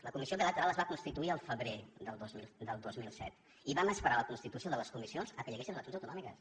la comissió bilateral es va constituir el febrer del dos mil set i vam esperar per a la constitució de les comissions fins que hi haguessin eleccions autonòmiques